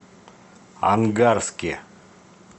ангарске